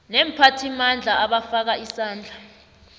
neemphathimandla abafaka isandla